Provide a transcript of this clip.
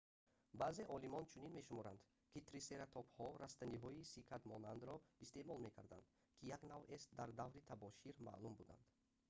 баъзе олимон чунин мешуморанд ки трисератопҳо растаниҳои сикадмонандро истеъмол мекарданд ки як навъест дар давраи табошир маъмул буданд